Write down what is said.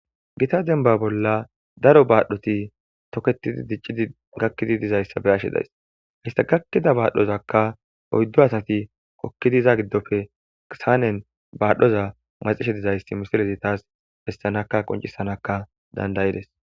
Gita denba bolla daro baadhoti toketidi diciidi gakidi dizayssa be'ashe days; hayssa gakida baadhozakka oyddu asati hokkidi iza giddope saanen baadhoza maxishe dizayssi misilezi tas bessanaka qoncisanaka danda'ides.